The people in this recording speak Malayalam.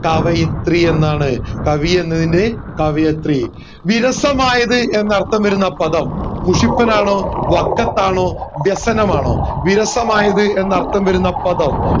കവയത്രി എന്നാണ് കവി എന്നതിൻറെ കവയത്രി എന്നാണ് വിരസമയത് എന്ന് അർത്ഥം വരുന്ന പദം മുഷിപ്പനാണോ വക്കത്ത് ആണോ വ്യസനമാണോ വിരസമായത് എന്ന് അർത്ഥം വരുന്ന പദം